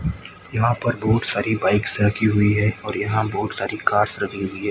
यहां पर बहुत सारी बाइक्स रखी हुईं है और यहां बहुत सारी कॉर्स लगी हुई है।